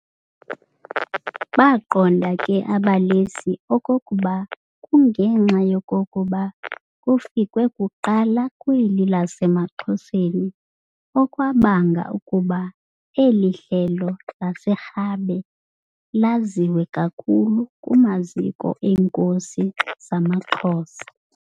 Baqonda ke abalesi okokuba kungenxa yokokuba kufikwe kuqala kweli lasemaXhoseni okwabanga ukuba eli Hlelo laseRhabe laziwe kakhulu kumaziko eenkosi zamaXhosa.